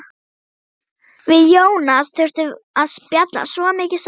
Við Jónas þurftum að spjalla svo mikið saman.